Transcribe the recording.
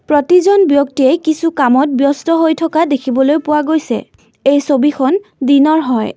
প্ৰতিজন ব্যক্তিয়েই কিছু কামত ব্যস্ত হৈ থকা দেখিবলৈ পোৱা গৈছে এই ছবিখন দিনৰ হয়।